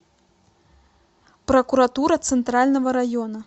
прокуратура центрального района